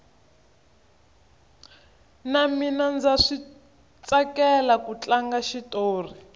na mina ndza switsakela ku tlanga xitori